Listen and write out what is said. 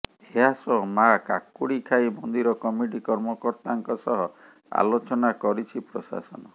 ଏହା ସହ ମା କାକୁଡ଼ିଖାଇ ମନ୍ଦିର କମିଟି କର୍ମକର୍ତ୍ତାଙ୍କ ସହ ଆଲୋଚନା କରିଛି ପ୍ରଶାସନ